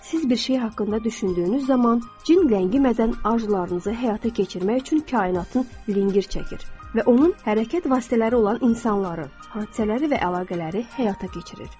Siz bir şey haqqında düşündüyünüz zaman, cin ləngimədən arzularınızı həyata keçirmək üçün kainatın lingir çəkir və onun hərəkət vasitələri olan insanları, hadisələri və əlaqələri həyata keçirir.